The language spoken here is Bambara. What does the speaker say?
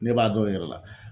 Ne b'a dɔn i yɛrɛ la